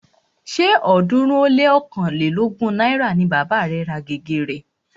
Ṣé ọ̀ọ́dúnrún ó lé ọ̀kánlelógún náírà ni bàba rẹ̀ ra gègé rẹ̀